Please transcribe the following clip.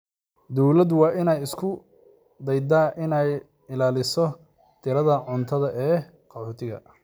Dawladdu waa inay isku daydaa inay ilaaliso tirada cuntada ee qaxootiga?